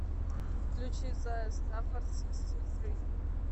включи зая стаффорд сиксти фри